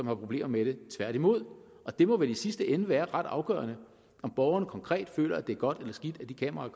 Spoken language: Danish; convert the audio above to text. har problemer med det tværtimod og det må vel i sidste ende være ret afgørende om borgerne konkret føler at det er godt eller skidt at de kameraer